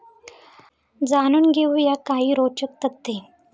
जाणून घेऊ या काही रोचक तथ्ये